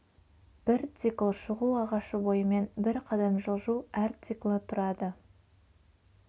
бір цикл шығу ағашы бойымен бір қадам жылжу әр циклі тұрады